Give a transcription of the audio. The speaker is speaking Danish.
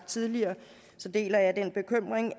tidligere